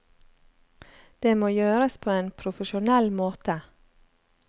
Det må gjøres på en profesjonell måte.